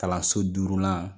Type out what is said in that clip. Kalanso durulan